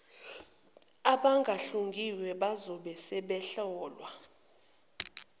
abangahlungiwe bazobe sebehlolwa